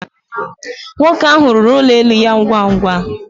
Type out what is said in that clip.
Nwoke ahụ rụrụ ụlọ elu ya ngwa ngwa